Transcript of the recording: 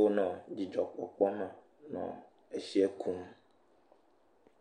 wonɔ dzidzɔkpɔkpɔme nɔ etsiɛ kum.